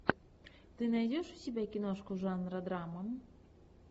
ты найдешь у себя киношку жанра драма